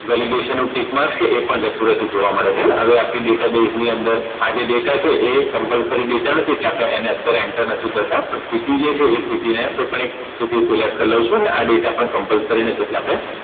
Validation નું Tickmark છે એ પણ જતું રતું જોવા મળે છે. હવે આપણી Data Baez ની અંદર આ જે data છે એ Compulsory delta નથી કે આપણે એને અત્યારે Enter નથી કરતા પણ city જે છે એ city ને કોઈ પણ રીતે city select કરી લવ છું ને આ data Compulsory નથી એટલે આપણે